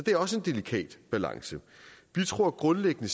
er også en delikat balance vi tror grundlæggende